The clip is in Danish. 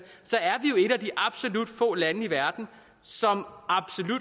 et af de absolut få lande i verden som